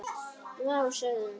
Vá, sagði hún.